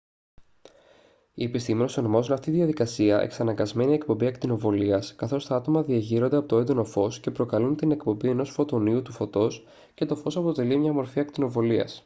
οι επιστήμονες ονομάζουν αυτή την διαδικασία «εξαναγκασμένη εκπομπή ακτινοβολίας» καθώς τα άτομα διεγείρονται από το έντονο φως και προκαλούν την εκπομπή ενός φωτονίου του φωτός και το φως αποτελεί μια μορφή ακτινοβολίας